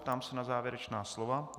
Ptám se na závěrečná slova.